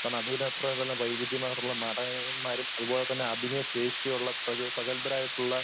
കാരണം അതിൽ അത്ര വൈവിധ്യമാർന്നിട്ടുള്ള നടന്മാരും അതുപോലെതന്നെ അഭിനയ ശേഷിയുള്ള പ്രഗ പ്രഗൽഭരായിട്ടുള്ള